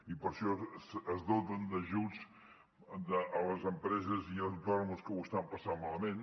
i per això es dota d’ajuts les empreses i els autònoms que ho estan passant malament